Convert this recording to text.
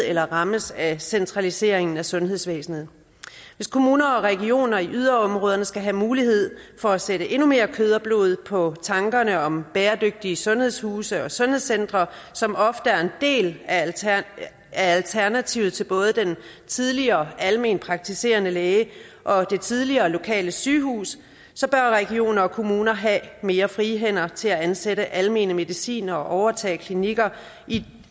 eller rammes af centraliseringen af sundhedsvæsenet hvis kommuner og regioner i yderområderne skal have mulighed for at sætte endnu mere kød og blod på tankerne om bæredygtige sundhedshuse og sundhedscentre som ofte er en del af alternativet til både den tidligere almenpraktiserende læge og det tidligere lokale sygehus så bør regioner og kommuner have mere frie hænder til at ansætte almene medicinere og overtage klinikker